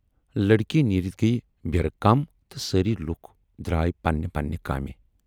لڑکی نیٖرِتھ گٔیہِ بیٖرٕ کم تہٕ سٲری لوٗکھ درا یہِ پننہِ پننہِ کامہِ۔